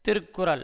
Thirukkural